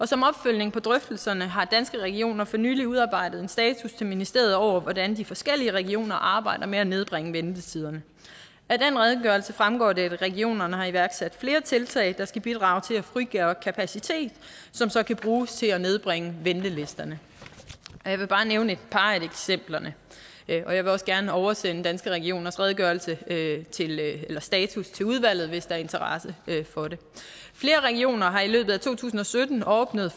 som opfølgning på drøftelserne har danske regioner for nylig udarbejdet en status til ministeriet over hvordan de forskellige regioner arbejder med at nedbringe ventetiderne af den redegørelse fremgår det at regionerne har iværksat flere tiltag der skal bidrage til at frigøre kapacitet som så kan bruges til at nedbringe ventelisterne jeg vil bare nævne et par af eksemplerne og jeg vil også gerne oversende danske regioners redegørelse eller status til udvalget hvis der er interesse for det flere regioner har i løbet af to tusind og sytten åbnet